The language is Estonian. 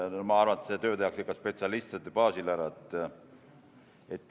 Ma arvan, et see töö tehakse spetsialistide abil ära.